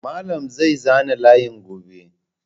Malam na zai zana layin gobe.